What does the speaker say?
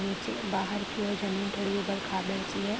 नीचे बाहर की ओर जमीन थोड़ी उबड-खाबड सी है।